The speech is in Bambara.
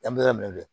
An bɛ yɔrɔ min